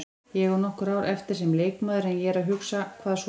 Ég á nokkur ár eftir sem leikmaður en ég er að hugsa, hvað svo?